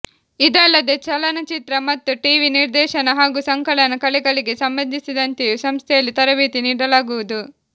ಇದಲ್ಲದೆ ಚಲನಚಿತ್ರ ಮತ್ತು ಟಿವಿ ನಿರ್ದೇಶನ ಹಾಗೂ ಸಂಕಲನ ಕಲೆಗಳಿಗೆ ಸಂಬಂಧಿಸಿದಂತೆಯೂ ಸಂಸ್ಥೆಯಲ್ಲಿ ತರಬೇತಿ ನೀಡಲಾಗುವುದು